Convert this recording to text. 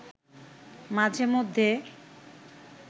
মাঝে মধ্যে